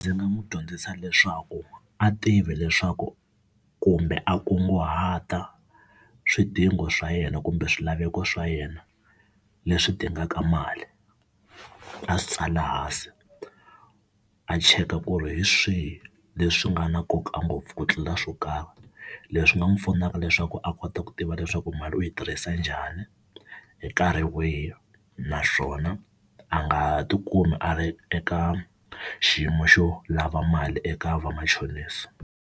Ndzi nga n'wi dyondzisa leswaku a tivi leswaku kumbe a kunguhata swidingo swa yena kumbe swilaveko swa yena leswi dingaka mali a swi tsala hansi a cheka ku ri hi swihi leswi nga na nkoka ngopfu ku tlula swo karhi. Leswi nga n'wi pfuna leswaku a kota ku tiva leswaku mali u yi tirhisa njhani, hi nkarhi wihi naswona a nga tikumi a ri eka xiyimo xo lava mali eka vamachonisi.